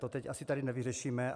To teď asi tady nevyřešíme.